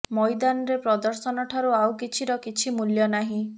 ମଇଦାନରେ ପ୍ରଦର୍ଶନ ଠାରୁ ଆଉ କିଛିର କିଛି ମୂଲ୍ୟ ନାହିଁ